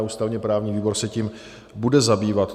A ústavně-právní výbor se tím bude zabývat.